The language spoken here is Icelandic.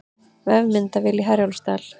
Vefmyndavél í Herjólfsdal